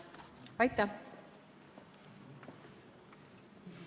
Aitäh!